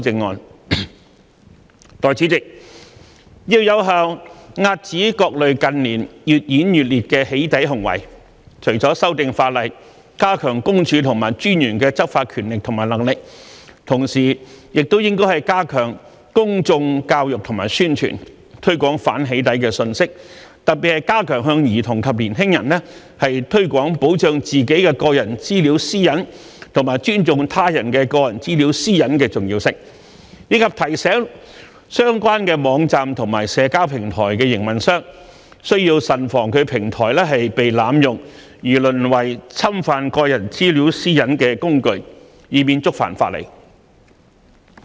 代理主席，要有效遏止各類近年越演越烈的"起底"行為，除了修訂法例，加強私隱公署和私隱專員的執法權力和能力，同時也應加強公眾教育和宣傳，推廣反"起底"的信息，特別是加強向兒童及年輕人推廣保障自己的個人資料私隱和尊重他人的個人資料私隱的重要性，以及提醒相關網站和社交平台的營運商，需慎防其平台被濫用而淪為侵犯個人資料私隱的工具，以免觸犯法例。